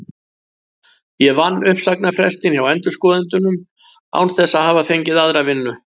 Ég vann uppsagnarfrestinn hjá endurskoðendunum án þess að hafa fengið aðra vinnu.